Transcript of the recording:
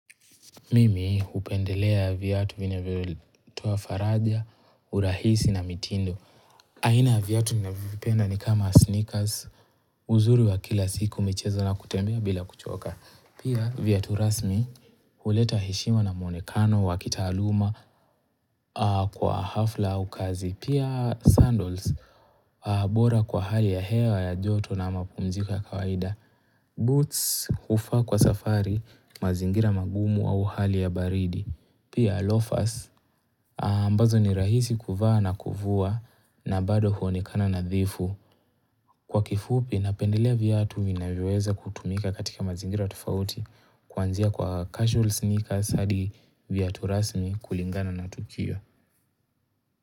Mimi upendelea viatu vina vyo toa faraja, urahisi na mitindo. Aina ya viatu nina vyovipenda ni kama sneakers, uzuri wa kila siku michezo na kutembea bila kuchoka. Pia viatu rasmi, uleta heshima na muonekano, wakitaaluma, kwa hafla ukazi. Pia sandals, bora kwa hali ya hewa ya joto na mapumziko ya kawaida, boots, hufaa kwa safari, mazingira magumu au hali ya baridi. Pia lofas ambazo ni rahisi kuvaa na kuvua na bado huonekana na dhifu kwa kifupi napendelea viatu vinavyoweza kutumika katika mazingira tofauti kuanzia kwa casual sneakera hadi viatu rasmi kulingana na tukio.